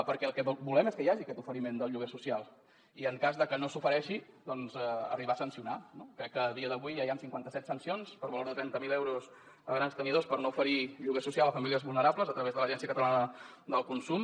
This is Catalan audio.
perquè el que volem és que hi hagi aquest oferiment del lloguer social i en cas de que no s’ofereixi doncs arribar a sancionar no crec que a dia d’avui ja hi han cinquanta set sancions per valor de trenta mil euros a grans tenidors per no oferir lloguer social a famílies vulnerables a través de l’agència catalana del consum